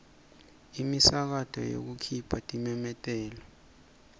imisakato yekukhipha timemetelo